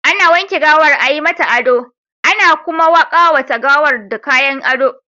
Ana wanke gawar, a yi mata ado, ana kuma ƙawata gawar da kayan ado.